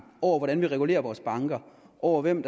over hvordan vi regulerer vores banker og over hvilke